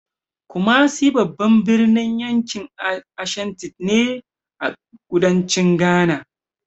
Kumasi babban birnin yankin Ashanti ne, a kudancin Ghana.